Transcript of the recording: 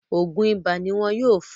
Ògùn ibà ní wọn yóò fún un